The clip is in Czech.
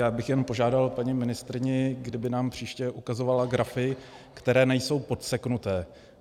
Já bych jen požádal paní ministryni, kdyby nám příště ukazovala grafy, které nejsou podseknuté.